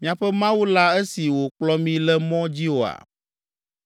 miaƒe Mawu la esi wòkplɔ mi le mɔ dzi oa?